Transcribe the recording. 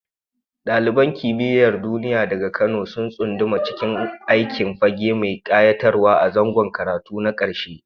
Daliban Kimiyyar Duniya daga Kano sun tsunduma cikin aikin fage mai kayatarwa a zangon karatu na karshe.